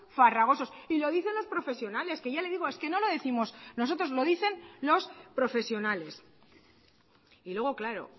farragosos y lo dicen los profesionales que ya le digo es que no lo décimos nosotros lo dicen los profesionales y luego claro